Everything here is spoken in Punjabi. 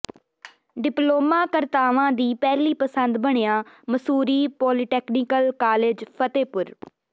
ਡਿਪਲੋਮਾ ਕਰਤਾਵਾਂ ਦੀ ਪਹਿਲੀ ਪਸੰਦ ਬਣਿਆ ਮਸੂਰੀ ਪੋਲੀਟੈਕਨਿਕ ਕਾਲਜ ਫ਼ਤਹਿਪੁਰ